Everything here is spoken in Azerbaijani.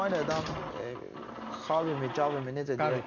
İspaniyadan Xavimi, Cavimi necə deyək?